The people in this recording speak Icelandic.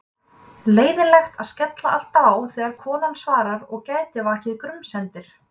Leiðinlegt að skella alltaf á þegar konan svarar og gæti vakið grunsemdir.